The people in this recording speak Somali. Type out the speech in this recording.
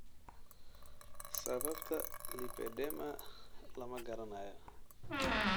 Sababta lipedema lama garanayo.